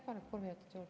Palun kolm minutit juurde.